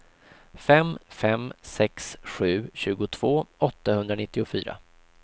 fem fem sex sju tjugotvå åttahundranittiofyra